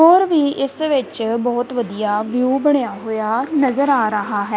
ਹੋਰ ਵੀ ਇਸ ਵਿੱਚ ਬਹੁਤ ਵਧੀਆ ਵਿਊ ਬਣਿਆ ਹੋਇਆ ਨਜ਼ਰ ਆ ਰਹਾ ਹੈ।